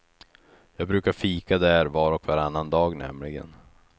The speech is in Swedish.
Jag brukar fika där var och varannan dag nämligen.